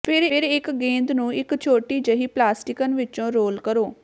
ਫਿਰ ਇੱਕ ਗੇਂਦ ਨੂੰ ਇੱਕ ਛੋਟੀ ਜਿਹੀ ਪਲਾਸਟਿਕਨ ਵਿੱਚੋਂ ਰੋਲ ਕਰੋ